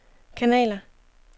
kanaler